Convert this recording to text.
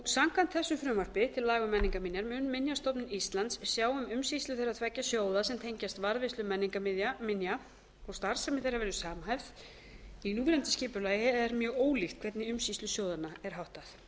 samkvæmt þessu frumvarpi til laga um menningarminjar mun mun minjastofnun íslands sjá um umsýslu þeirra tveggja sjóða sem tengjast varðveislu menningarminja og starfsemi þeirra verður samhæfð en í núverandi skipulagi er mjög ólíkt hvernig umsýslu sjóðanna er háttað